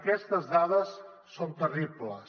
aquestes dades són terribles